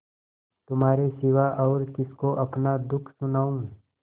तुम्हारे सिवा और किसको अपना दुःख सुनाऊँ